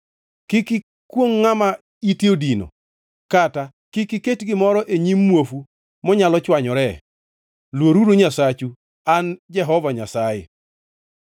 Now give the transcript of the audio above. “ ‘Kik ikwongʼ ngʼama ite odino, kata kik iket gimoro e nyim muofu monyalo chwanyoree, luoruru Nyasachu. An e Jehova Nyasaye.